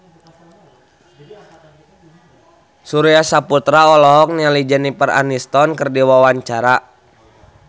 Surya Saputra olohok ningali Jennifer Aniston keur diwawancara